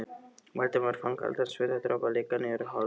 Valdimar fann kaldan svitadropa leka niður holhöndina.